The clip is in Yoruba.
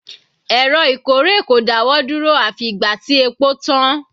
Èrò ìkórè kò dáwọ́ dúró àfi ìgbà tí epo tán.